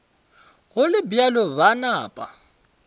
go le bjalo ba napa